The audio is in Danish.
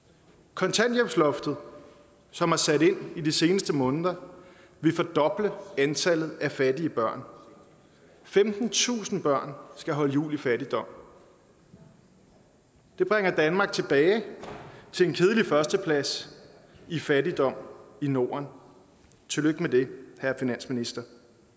kontanthjælpsloftet som har sat ind de seneste måneder vil fordoble antallet af fattige børn femtentusind børn skal holde jul i fattigdom det bringer danmark tilbage til en kedelig førsteplads i fattigdom i norden tillykke med det herre finansminister